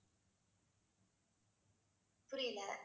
புரியல